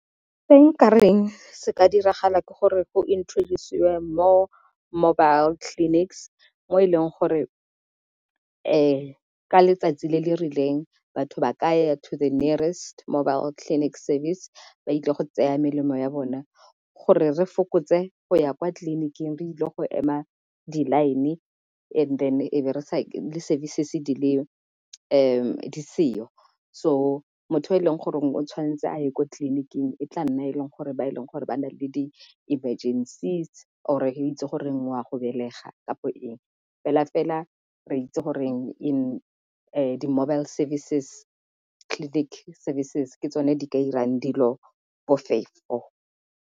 Se nkareng se ka diragala ke gore go introduce-siwe more mobile clinics mo e leng gore ka letsatsi le le rileng batho ba ka ya to the nearest mobile clinic service ba ile go tsaya melemo ya bona gore re fokotse go ya kwa tleliniking re ile go ema di-line and then e be di-service di le di seo. So motho p e leng gore o tshwanetse a ye kwa tleliniking e tla nna e leng gore ba e leng gore ba na le di-emergencies or-e itse goreng wa go belega kapo eng fela fela re itse goreng in the mobile service clinic services ke tsone di ka 'irang dilo bofefo..